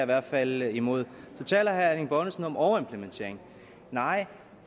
hvert fald imod så taler herre erling bonnesen om overimplementering nej